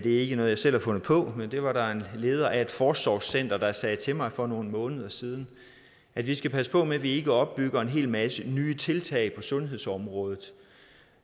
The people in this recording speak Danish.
ikke noget jeg selv har fundet på det var der en leder af et forsorgscenter der sagde til mig for nogle måneder siden at vi skal passe på med at vi ikke opbygger en hel masse nye tiltag på sundhedsområdet